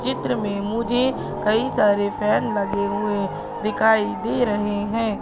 इस चित्र में मुझे कई सारे फैन लगे हुए दिखाई दे रहे हैं।